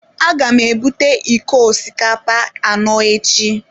Aga m ebute iko osikapa anọ echi.